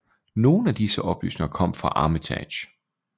Nogen af disse oplysninger kom fra Armitage